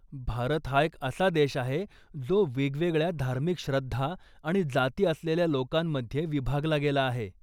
भारत हा एक असा देश आहे जो वेगवेगळ्या धार्मिक श्रद्धा आणि जाती असलेल्या लोकांमध्ये विभागला गेला आहे.